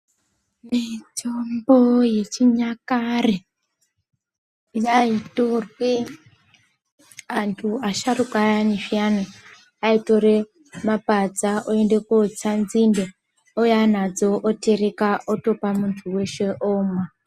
Mitombo yechinyakare yaitorwe antu asharuka ayani zviyani aitore mapadza oende kotsa nzinde ouya nadzo oterek otopa muntu weshe omwa.